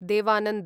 Dev Anand